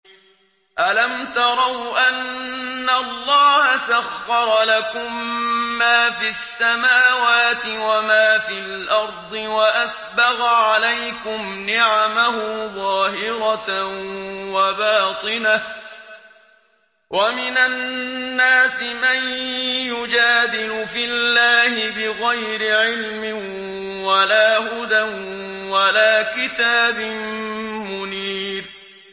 أَلَمْ تَرَوْا أَنَّ اللَّهَ سَخَّرَ لَكُم مَّا فِي السَّمَاوَاتِ وَمَا فِي الْأَرْضِ وَأَسْبَغَ عَلَيْكُمْ نِعَمَهُ ظَاهِرَةً وَبَاطِنَةً ۗ وَمِنَ النَّاسِ مَن يُجَادِلُ فِي اللَّهِ بِغَيْرِ عِلْمٍ وَلَا هُدًى وَلَا كِتَابٍ مُّنِيرٍ